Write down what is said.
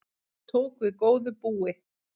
Tók við góðu búi